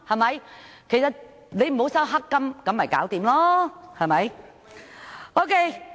只要你沒有收取黑金便沒有問題，對嗎？